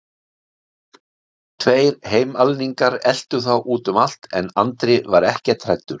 Tveir heimalningar eltu þá út um allt en Andri var ekkert hræddur.